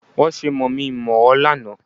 Wọ́n ṣe mọ̀mí-n-mọ̀-ọ́ lánàá